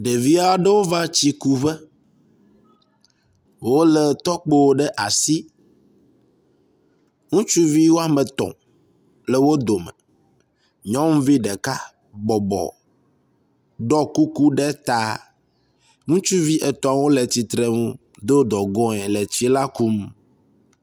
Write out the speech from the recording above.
Ɖevi aɖewo va tsikuƒe, wolé tɔkpo ɖe asi. Ŋutsuvi wome etɔ̃ le wo dome, nyɔnuvi ɖeka bɔbɔ ɖɔ kuku ɖe ta. Ŋutsu etɔ̃wo le tsitre nu do dogoe le tsi la kum.